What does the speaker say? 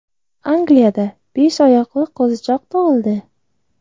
Angliyada besh oyoqli qo‘zichoq tug‘ildi.